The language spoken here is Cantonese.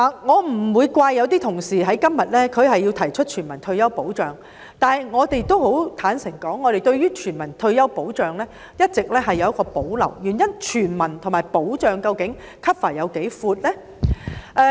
我不會怪責某些同事在今天提出全民退休保障，但坦白說，我們對全民退休保障一直有保留，原因是究竟"全民"和"保障"的涵蓋範圍有多闊？